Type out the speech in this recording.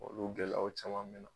Olu gɛlɛyaw caman .